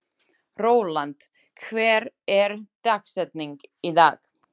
Rólant, hver er dagsetningin í dag?